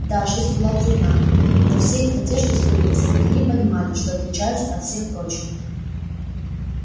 да жизнь была трудна но все их надежды сбылись но они понимали что отличаются от всех прочих